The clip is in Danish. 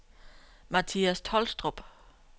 Mathias Tolstrup